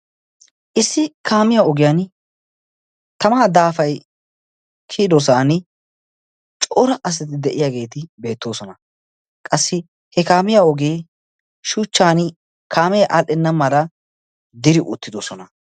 issi kaamiya ogiyan tamaa daafay kiyidosan coora asati de7iyaageeti beettoosona. qassi he kaamiya ogee shuchchan kaamee aadhdhenna mala diri oottidosona.